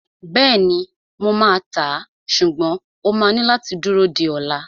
Bẹ́ẹ̀ni, mo máa tàá, ṣùgbọ́n o máa ní láti dúró di ola